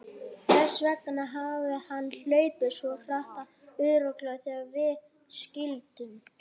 Þess vegna hafði hann hlaupið svona hratt og örugglega þegar við skildum.